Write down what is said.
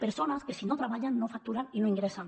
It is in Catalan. persones que si no treballen no facturen i no ingressen